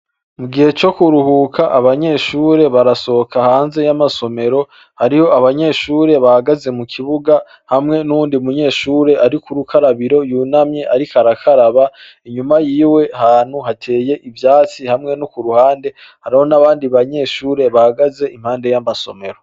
Mu gihe co kuruhuka abanyeshure barasohoka hanze y'amasomero hariho abanyeshure bahagaze mu kibuga hamwe n'uwundi munyeshure ari kurukarabiro yunamye ariko arakaraba inyuma yiwe ahantu hateye ivyatsi hamwe nokuruhande hariho n'abandi banyeshure hagaze impande y'amasomero.